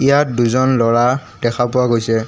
ইয়াত দুজন ল'ৰা দেখা পোৱা গৈছে।